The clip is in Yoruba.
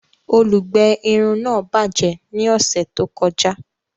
Olùgbé irun náà bajẹ ní ọsẹ tó kọjá